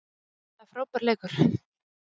Það er frábær leikur.